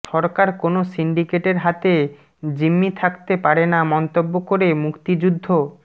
সরকার কোনো সিন্ডিকেটের হাতে জিম্মি থাকতে পারে না মন্তব্য করে মুক্তিযুদ্ধ